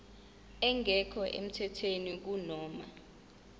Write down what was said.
engekho emthethweni kunoma